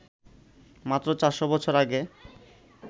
মাত্র ৪০০ বছর আগে